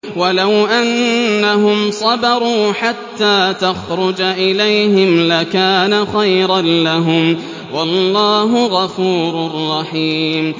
وَلَوْ أَنَّهُمْ صَبَرُوا حَتَّىٰ تَخْرُجَ إِلَيْهِمْ لَكَانَ خَيْرًا لَّهُمْ ۚ وَاللَّهُ غَفُورٌ رَّحِيمٌ